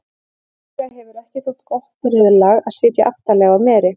líklega hefur ekki þótt gott reiðlag að sitja aftarlega á meri